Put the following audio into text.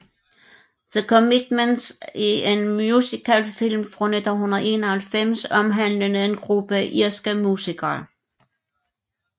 The Commitments er en musicalfilm fra 1991 omhandlende en gruppe irske musikere